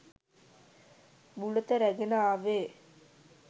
බුලත රැගෙන ආවේ